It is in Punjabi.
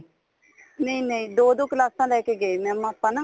ਨਹੀਂ ਨਹੀਂ ਦੋ ਦੋ ਕਲਾਸਾ ਲੈਕੇ ਗਏ mam ਆਪਾਂ ਨਾ